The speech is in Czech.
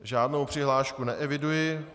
Žádnou přihlášku neeviduji.